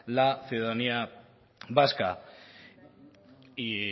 la ciudadanía vasca y